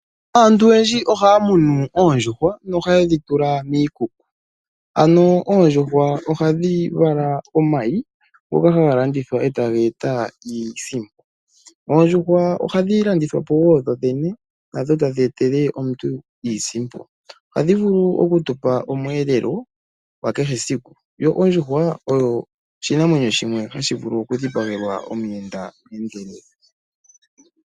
Aantu oyendji ohaya munu oondjuhwa nohaye dhi tula miikuku ano oondjuhwa ohadhi vala omayi ngoka haga landithwa etaga eta iisimpo. Oondjuhwa ohadhi landithwapo woo dho dhene nadho tadhi etele omuntu iisimpo. Ohadhi vulu oku tu pa omweelelo gwa kehe esiku yo ondjuhwa oshinamwenyo shimwe hashi vulu okudhipagelwa omuyenda.